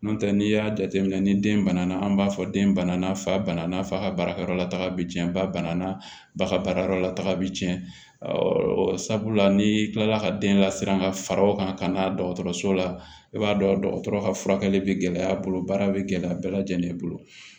N'o tɛ n'i y'a jateminɛ ni den bana na an b'a fɔ den bana na fa bana n'a fa ka baarakɛyɔrɔ la taga bi cɛn ba banna baga baarayɔrɔ la taga bi cɛn ɛɛ sabula ni kilala ka den lasiran ka far'a o kan ka n'a dɔgɔtɔrɔso la i b'a dɔn dɔgɔtɔrɔ ka furakɛli be gɛlɛya a bolo baara be gɛlɛya bɛɛ lajɛlen bolo